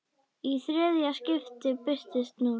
Í þriðja skiptið birtist núll.